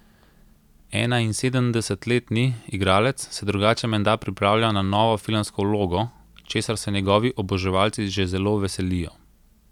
Enainsedemdesetletni igralec se drugače menda pripravlja na novo filmsko vlogo, česar se njegovi oboževalci že zelo veselijo.